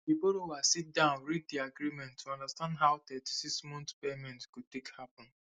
di borrower sit down read di agreement to understand how 36month payment go take happen